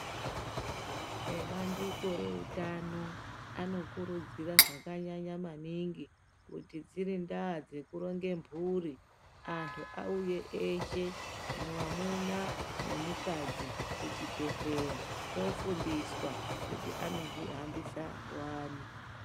Ebandiko reutano anokurudzira zvakanyanya maningi kuti dziri ndaa dzekuronga mhuri antu auye eshe mwamuna nemukadzi kuchibhedhlera kofundiswa kuti anohambisa wani.